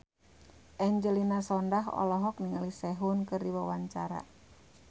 Angelina Sondakh olohok ningali Sehun keur diwawancara